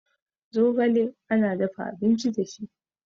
zogale ana dafa abinci da shi